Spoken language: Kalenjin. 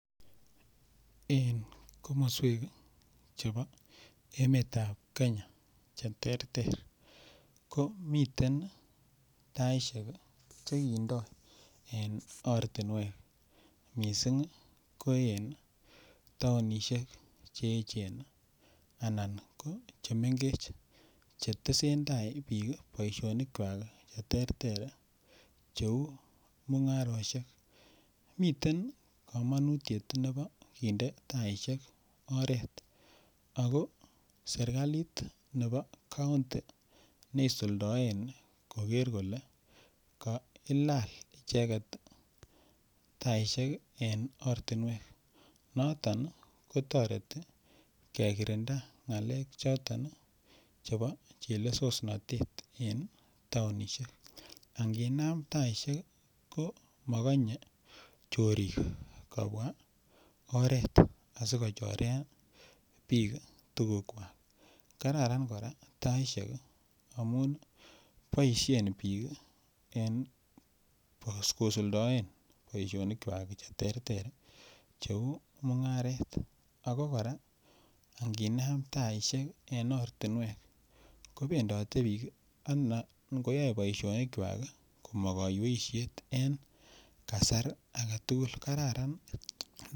En komoswek chebo emetab kenya che terter ko miten taishek che kindo en ortinwek missing ko en tounishek che echen anan ko chemengech che tesetai biik boisionikwak che terter che uu mungaroshek. Miten komonutiet nebo kinde taishek oret ako serkalit nebo kounti ne isuldoen koger kole kailal icheget taishek ii en ortinwek noton ii kotoreti kekirinda ngalek choton chebo chelesosnotet en tounishek anginam taishek ko mogonye chorik kobwaa oret asi kochoren biik tugukwak. Kararan koraa taishek amun boishen biik ii en kosuldaen boisionikwak che terter che uu mungaret ako koraa nginam taishek en ortinwek kobendote biik ngo yoe boisionikwak amo koiyweishet em kasar agetugul kararan